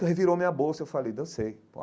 E revirou a minha bolsa e eu falei, dancei.